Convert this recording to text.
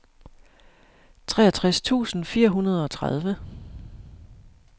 treogtres tusind fire hundrede og tredive